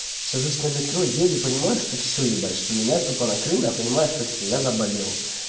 сажусь на метро еду и понимаю что всё ебать что меня тупо накрыло я понимаю что всё я заболел